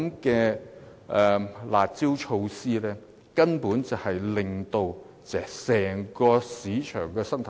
因此，"辣招"措施根本只會攪亂整個市場生態。